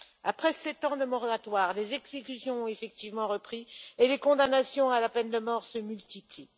Après 7 ans de moratoire, les exécutions ont effectivement repris et les condamnations à la peine de mort se multiplient.